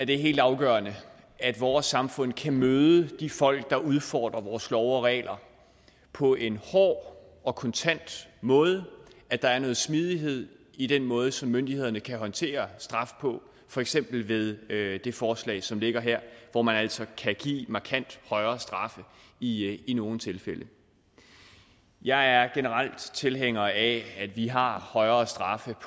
det er helt afgørende at vores samfund kan møde de folk der udfordrer vores love og regler på en hård og kontant måde at der er noget smidighed i den måde som myndighederne kan håndtere straf på for eksempel ved det forslag som ligger her hvor man altså kan give markant højere straffe i i nogle tilfælde jeg er generelt tilhænger af at vi har højere straffe